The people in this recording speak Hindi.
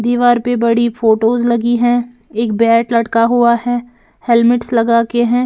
दीवार पे बड़ी फोटोस लगी हैं एक बैट लटका हुआ है हेलमेट्स लगा के हैं।